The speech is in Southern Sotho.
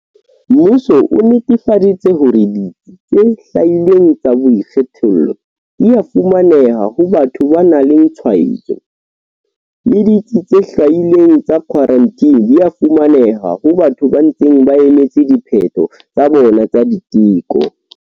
Mmuso o netefaditse hore ditsi tse hlwailweng tsa boikgethollo di a fumaneha ho batho ba nang le tshwaetso, le ditsi tse hlwailweng tsa khwarantine di a fumaneha ho batho ba ntseng ba emetse diphetho tsa bona tsa diteko.